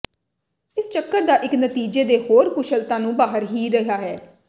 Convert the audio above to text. ਇਸ ਚੱਕਰ ਦਾ ਇੱਕ ਨਤੀਜੇ ਦੇ ਹੋਰ ਕੁਸ਼ਲਤਾ ਨੂੰ ਬਾਹਰ ਹੀ ਰਿਹਾ ਹੈ